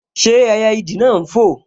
Ṣé ẹyẹ ìdì náà n fò?